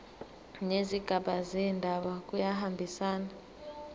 nezigaba zendaba kuyahambisana